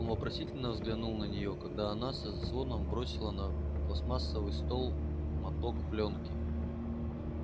он вопросительно взглянул на неё когда она со звоном бросила на пластмассовый стол моток плёнки